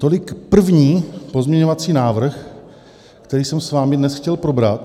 Tolik první pozměňovací návrh, který jsem s vámi dnes chtěl probrat.